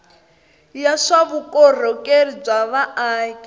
ya swa vukorhokeri bya vaaki